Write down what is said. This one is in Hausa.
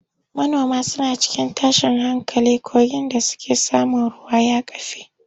Manoman suna cikin tashin hankali kogin da suke samun ruwa ya kafe.